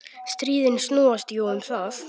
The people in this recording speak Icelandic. Stríðin snúast jú um það.